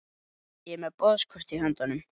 Ég er með boðskort í höndunum.